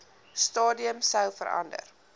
stadium sou verander